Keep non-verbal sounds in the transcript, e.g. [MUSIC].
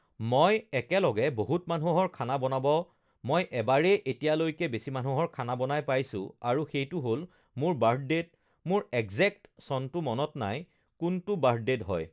[NOISE] ugh মই এক একে একলগে বহুত মানুহৰ খানা বনাব মই এবাৰেই এতিয়ালৈকে বেছি মানুহৰ খানা বনাই পাইছোঁ আৰু সেইটো হ'ল মোৰ [NOISE] বাৰ্ডদেত মোৰ একজেক্ট চনটো মনত নাই কোনটো বাৰ্ডদেত হয়